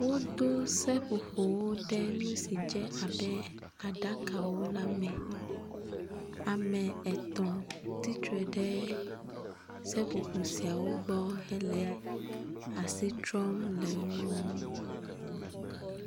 wodó seƒoƒowo ɖe nusi dze abe aɖakawo la me ame etɔ̃ tsitre ɖe seƒoƒo siawo gbɔ hele asitrɔm le wó nu